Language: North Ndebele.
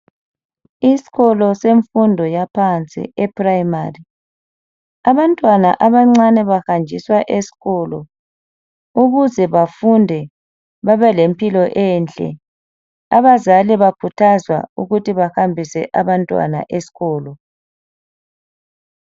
Isikolo semfundo yaphansi ePrimary. Abantwana abancane bahanjiswa esikolo ukuze bafunde babelempilo enhle. Abazali bakhuthazwa ukuthi bahambise abantwana esikolo .